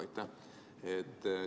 Aitäh!